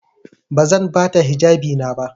Bazan bata hijabi na ba.